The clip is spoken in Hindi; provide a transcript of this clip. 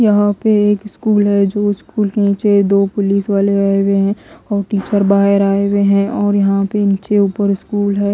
यहां पे एक स्कूल है जो स्कूल के नीचे दो पुलिस वाले आये हुए हैं और टीचर बाहर आये हुए हैं और यहां पे ऊपर नीचे दो स्कूल हैं।